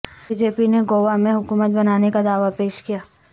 be J P نے گوا میں حکومت بنانے کا دعوی پیش کیا